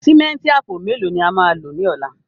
Símẹ́ǹtì àpò mẹ́lò ni à má lọ ní ọ̀lá?